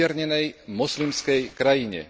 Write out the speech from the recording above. umiernenej moslimskej krajine.